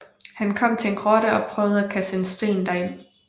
Han kom til en grotte og prøvede at kaste en sten derind